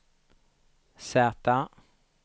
Z